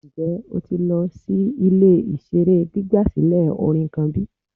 Njẹ o ti lọ si ile-iṣere gbigbasilẹ orin kan bi?